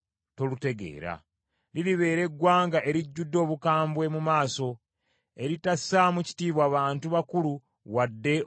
Liribeera eggwanga erijjudde obukambwe mu maaso, eritassaamu kitiibwa bantu bakulu wadde okusaasira abato.